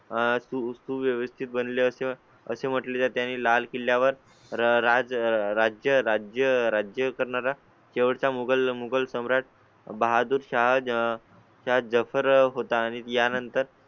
अं तू व्यवस्थित बनले असते असे म्हटले जाते आणि लाल किल्ल्या वर राज्य राज्य राज्य करणारा तेवढाच या मोगल मोगल सम्राट. बहादूरशाह जफर होता आणि त्यानंतर